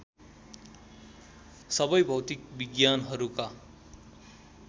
सबै भौतिक विज्ञानहरूका